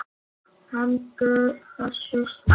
Hentu þessu strax!